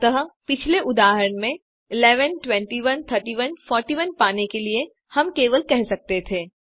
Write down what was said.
अतः पिछले उदाहरण में 11 21 31 41 पाने के लिए हम केवल कह सकते थे